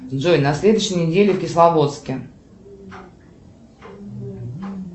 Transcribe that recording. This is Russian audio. джой на следующей неделе в кисловодске